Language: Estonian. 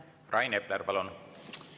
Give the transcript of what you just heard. Rain Epler, palun!